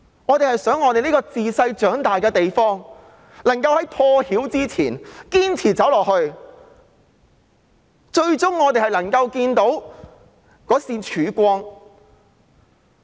我們很希望這個大家自小長大的地方，可以在破曉前堅持走下去，最終我們會看到一線曙光。